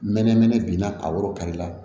N mɛnɛ mɛnɛ binna a woro kari la